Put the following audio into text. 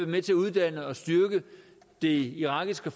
med til at uddanne og styrke det irakiske